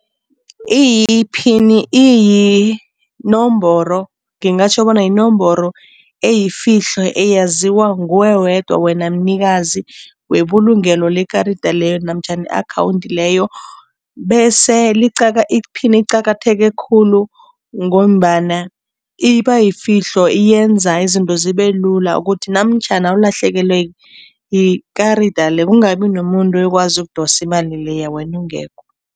Iphini iyinomboro, ngingatjho bona yinomboro eyifihlo eyaziwa nguwe wedwa wena mnikazi webulungelo lekarada leyo namtjhana i-akhawundi leyo bese iphini iqakatheke khulu ngombana iba yifihlo. Yenza izinto zibe lula ukuthi namtjhana ulahlekelwe yikarada le, kungabi nomuntu oyokwazi ukudosa imali leya wena ungekho.